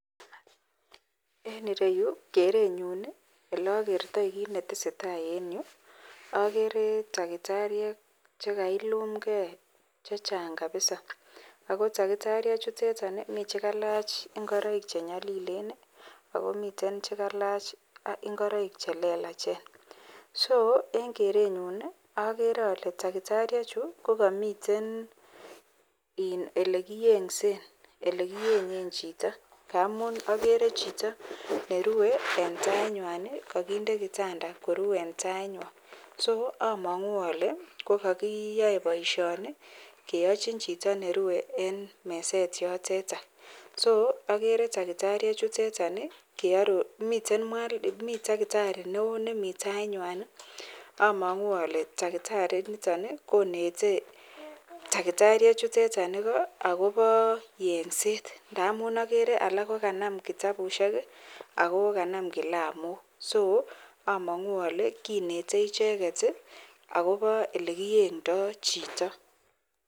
En ireyu kerenyun elakertoi kit netesetai en Yu agere takitariek chekaikum gei chechang kabisaakotakitatiek chuton Komi chekalach chenyalilen akomi chekalach ingoroik chelelach so en kerenyun agere ale takitariek kokamiten elekiyensen elekiyensen Chito agere Chito nerue en tainywan kakindekitanda Koru en tainywan akoamangu Kole kakiyae baishoni keyachin Chito nerue en meset yotetan so agere takitariek chutetan miten takitari neon en taiywan amangu ale takitari niton konete takitariek chuteton Igo akoba yengset amu agere alak kokanam kitabut akokanam kilamok amangu ale kinete icheket akobo olekiyengdo Chito.